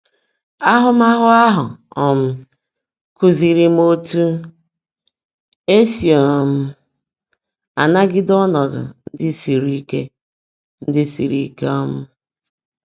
Áhụ́máhụ́ áhụ́ um kúziírí m ótú è sí um ánágídé ọ́nọ́dụ́ ndị́ sírí íke. ndị́ sírí íke. um